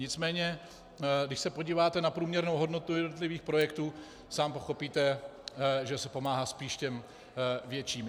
Nicméně když se podíváte na průměrnou hodnotu jednotlivých projektů, sám pochopíte, že se pomáhá spíš těm větším.